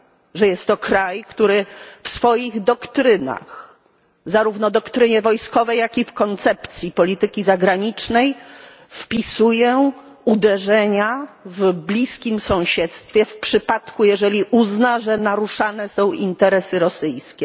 Że jest to kraj, który w swoich doktrynach zarówno w doktrynie wojskowej, jak i w koncepcji polityki zagranicznej zakłada uderzenia w bliskim sąsiedztwie w przypadku, jeżeli uzna, że naruszane są interesy rosyjskie.